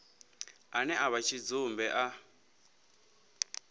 ane a vha tshidzumbe a